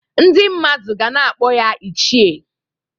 Ndị mmadụ ga na-akpọ ya "ichie"